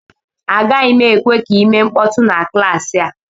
Agaghị m ekwe ka ị mee mkpọtụ na klaasị a